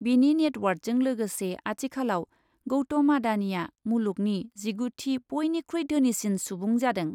बिनि नेटवार्थजों लोगोसे आथिखालाव गौतम आडानिआ मुलुगनि जिगुथि बयनिख्रुइ धोनिसिन सुबुं जादों ।